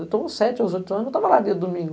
Eu com sete ou oito anos, eu estava lá dia domingo.